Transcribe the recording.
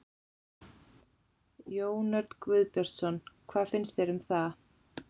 Jón Örn Guðbjartsson: Hvað finnst þér um það?